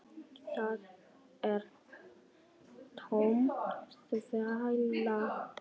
Það er tóm þvæla.